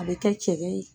A bɛ kɛ cɛ ye